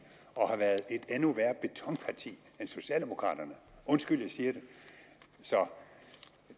og har været et endnu værre betonparti end socialdemokraterne undskyld jeg siger det